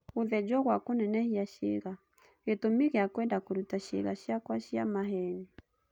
Gũthĩnjwo gwa kũnenehia ciĩga: Gĩtũmi gĩa kwenda kũruta ciĩga ciakwa 'cia maheeni'